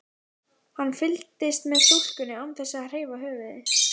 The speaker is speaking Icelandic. Hann fylgist með stúlkunni án þess að hreyfa höfuðið.